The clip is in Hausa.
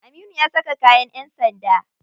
Aminu ya saka kayan yan sanda.